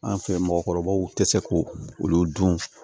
An fɛ mɔgɔkɔrɔbaw tɛ se k'o olu dun